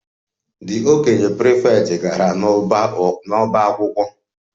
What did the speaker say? The okenye prefect gara n'ọbá akwụkwọ